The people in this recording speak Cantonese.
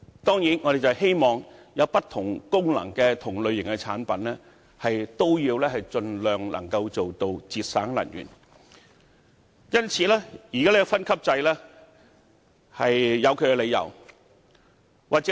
當然，我們希望具備不同功能的同類型產品，可以盡量做到節省能源，所以現在的分級制度是有其理由的。